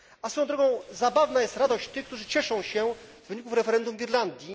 A swoją drogą zabawna jest radość tych, którzy cieszą się z wyniku referendum w Irlandii.